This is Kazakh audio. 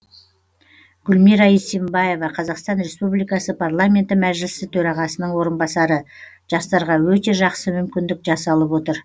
гүлмира исимбаева қазақстан республикасы парламенті мәжілісі төрағасының орынбасары жастарға өте жақсы мүмкіндік жасалып отыр